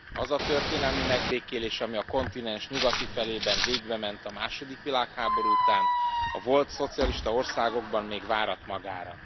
Az a történelmi megbékélés, ami a kontinens nyugati felében végbement a második világháború után, a volt szocialista országokban még várat magára.